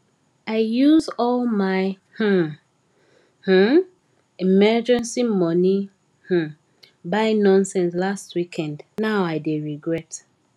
i use all my um um emergency money um buy nonsense last weekend now i dey regret